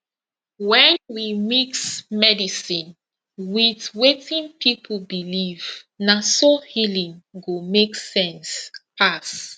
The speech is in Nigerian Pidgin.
when we mix medicine with wetin people believe na so healing go make sense pass